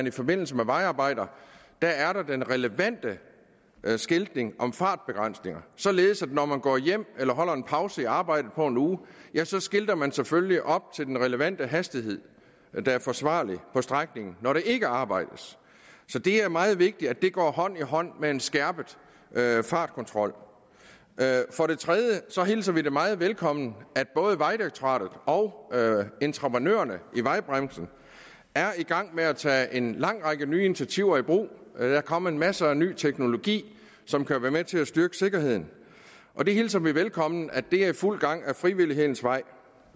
i forbindelse med vejarbejder er er den relevante skiltning om fartbegrænsningerne således at når man går hjem eller holder en pause i arbejdet på en uge så skilter man selvfølgelig op til den relevante hastighed der er forsvarlig på strækningen når der ikke arbejdes så det er meget vigtigt at det går hånd i hånd med en skærpet fartkontrol for det tredje hilser vi det meget velkommen at både vejdirektoratet og entreprenørerne i vejbranchen er i gang med at tage en lang række nye initiativer i brug der er kommet masser af ny teknologi som kan være med til at styrke sikkerheden vi hilser velkommen at det er i fuld gang ad frivillighedens vej